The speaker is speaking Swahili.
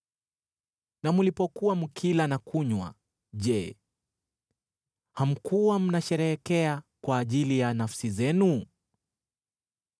Na mlipokuwa mkila na kunywa, je, hamkuwa mnasherehekea kwa ajili ya nafsi zenu?